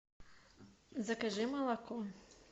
закажи молоко